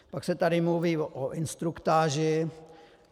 Pak se tady mluví o instruktáži.